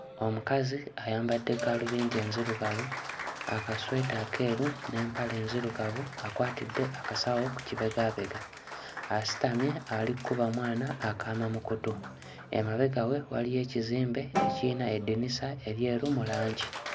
Omukazi ayambadde gaalubindi ezirugavu, akasweta akeeru n'empale enzirugavu, akwatidde akasawo ku kibegaabega, asitamye ali kkuba mwana akaama mu kkutu, emabega we waliyo ekizimbe ekiyina eddinisa eryeru mu langi.